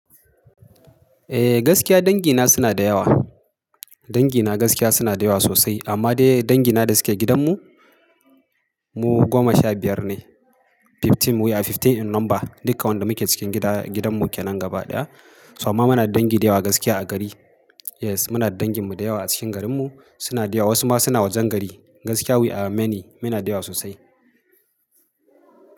Eh gaskiya dangina suna da yawa. Dangina gaskiya suna da yawa sosai amma dai dangina da suke gidanmu mu goma sha biyar ne. Fifteen we are fifteen in number duka wanda muke cikin gida, gidanmu ke nan gaba ɗaya. Toh amma muna da dangi da yawa gaskiya a gari. Yes muna da danginmu da yawa a cikin garinmu suna da yawa wasu ma suna wajen gari. Gaskiya we are many, muna da yawa sosai.